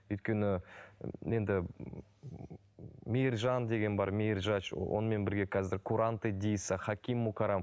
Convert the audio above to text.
өйткені енді мейіржан деген бар мейіржач онымен бірге қазір куранте диса хаким мукарам